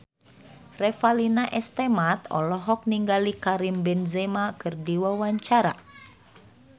Revalina S. Temat olohok ningali Karim Benzema keur diwawancara